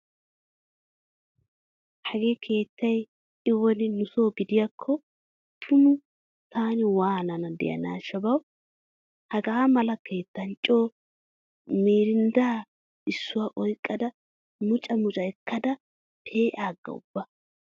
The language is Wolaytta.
Hagee keettay i woni nuso gidiyaakko tumu taani waanana diyanaashsha bawu. Haga mala keettan co mirindda issuwa oyqqada muca muca ekkada pee'aaga ubba.